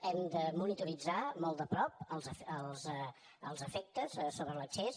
hem de monitoritzar molt de prop els efectes sobre l’accés